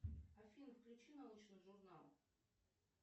афина включи научный журнал